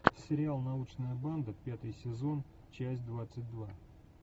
сериал научная банда пятый сезон часть двадцать два